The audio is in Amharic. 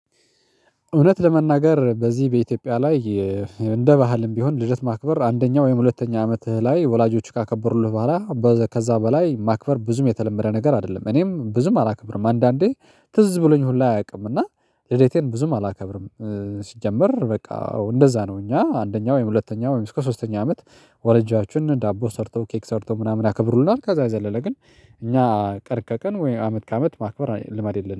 እውነት ለመናገር በዚህ በኢትዮጵያ ላይ እንደ ባህልም ቢሆን ልደት ማክበር አንደኛው ወይም ሁለተኛ አመትህ ላይ ወላጆች ካከበሩልህ በኋላ ከዛ በላይ ማክበር ብዙም የተለመደ ነገር አይደለም። እኔም ብዙም አላከብርም አንዳንዴ ትዝ ብሎኝ ሁላ አያውቅም እና ልዴቴን ብዙም አላከብርም። ሲጀመር በቃ እንደዛ ነው። እኛ አንደኛው ወይም ሁለተኛ ወይም እስከ ሶስተኛ አመት ወላጃችን ዳቦ ሰርተው ኬክ ሰርተው ምናምን ያከብሩልናል። ከዛ የዘለለ ግን እኛ ቀን ከቀን ወይ አመት ከአመት ማክበር ልማድ የለንም